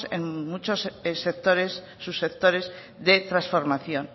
en muchos sectores sus sectores de transformación